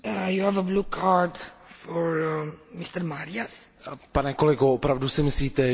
Pane kolego, opravdu si myslíte, že se dají demokratizovat arabské státy jednoduše?